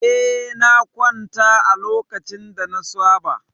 Eh, na kwanta a lokacin da na saba.